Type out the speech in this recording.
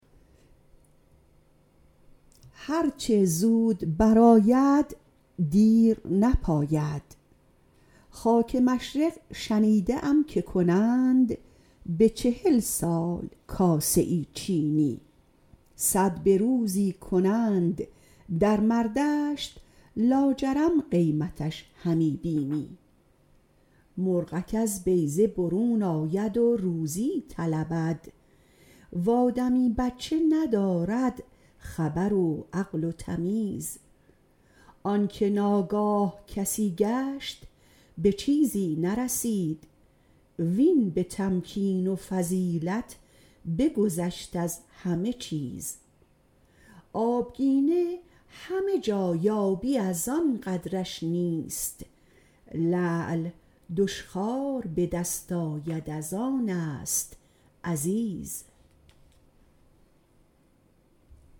هر چه زود بر آید دیر نپاید خاک مشرق شنیده ام که کنند به چهل سال کاسه ای چینی صد به روزی کنند در مردشت لاجرم قیمتش همی بینی مرغک از بیضه برون آید و روزی طلبد و آدمی بچه ندارد خبر و عقل و تمیز آن که ناگاه کسی گشت به چیزی نرسید وین به تمکین و فضیلت بگذشت از همه چیز آبگینه همه جا یابی از آن قدرش نیست لعل دشخوار به دست آید از آن است عزیز